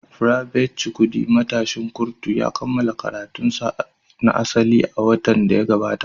Private Chukwudi, matashin kurtu, ya kammala karatunsa na asali a watan da ya gabata.